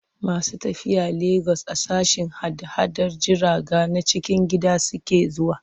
Masu tafiya Legas a sashen hada-hadar jiraga na cikin gida suke zuwa.